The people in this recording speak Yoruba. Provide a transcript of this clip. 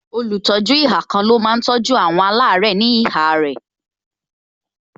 Olùtọ́jú ihà kan ló máa tọ́jú àwọn alare ní ihà rẹ